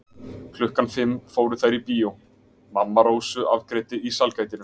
Klukkan fimm fóru þær á bíó, mamma Rósu afgreiddi í sælgætinu.